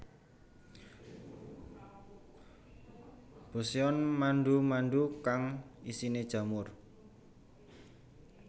Boseon mandu mandu kang isine jamur